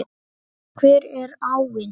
Hver er áin?